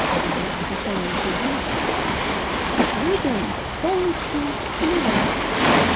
как бы на самом-то деле людям полностью плевать